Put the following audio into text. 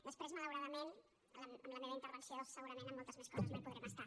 després malauradament amb la meva intervenció segurament amb moltes més co·ses no hi podrem estar